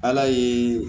Ala ye